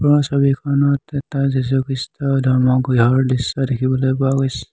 ওপৰৰ ছবিখনত এটা যীচু খ্ৰীষ্টৰ ধৰ্ম গৃহৰ দৃশ্য দেখিবলৈ পোৱা গৈছে।